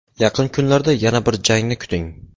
Yaqin kunlarda yana bir jangni kuting.